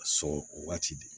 Sɔrɔ waati de